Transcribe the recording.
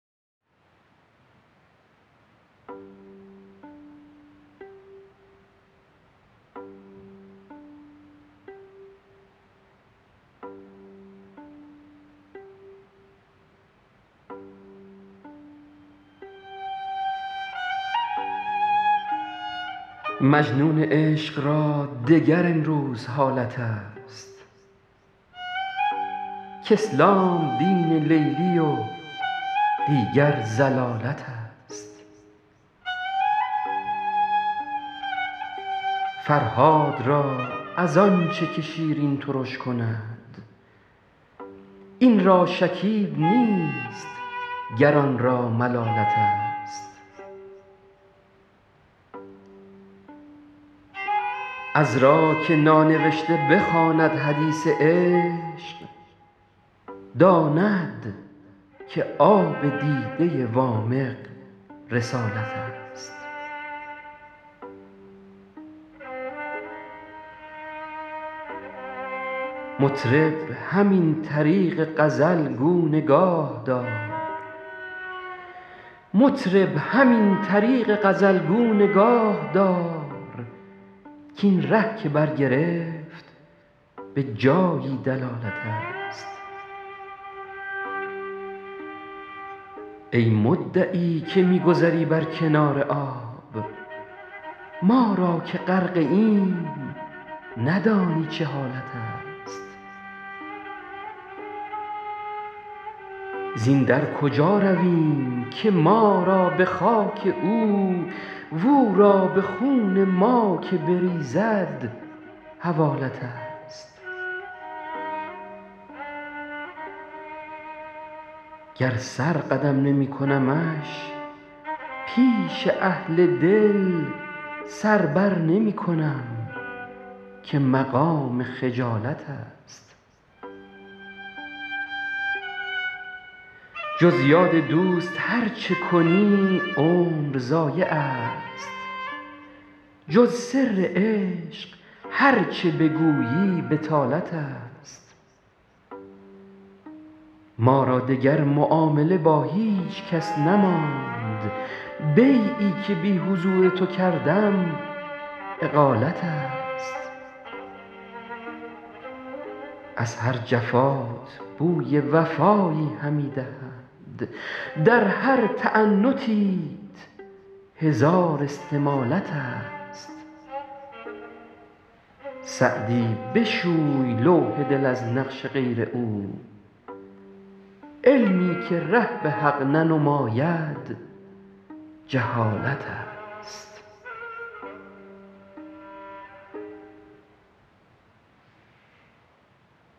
مجنون عشق را دگر امروز حالت است کاسلام دین لیلی و دیگر ضلالت است فرهاد را از آن چه که شیرین ترش کند این را شکیب نیست گر آن را ملالت است عذرا که نانوشته بخواند حدیث عشق داند که آب دیده وامق رسالت است مطرب همین طریق غزل گو نگاه دار کاین ره که برگرفت به جایی دلالت است ای مدعی که می گذری بر کنار آب ما را که غرقه ایم ندانی چه حالت است زین در کجا رویم که ما را به خاک او و او را به خون ما که بریزد حوالت است گر سر قدم نمی کنمش پیش اهل دل سر بر نمی کنم که مقام خجالت است جز یاد دوست هر چه کنی عمر ضایع است جز سر عشق هر چه بگویی بطالت است ما را دگر معامله با هیچ کس نماند بیعی که بی حضور تو کردم اقالت است از هر جفات بوی وفایی همی دهد در هر تعنتیت هزار استمالت است سعدی بشوی لوح دل از نقش غیر او علمی که ره به حق ننماید جهالت است